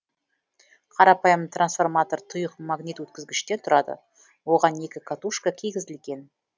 қарапайым трансформатор тұйық магнит өткізгіштен тұрады оған екі катушка кигізілген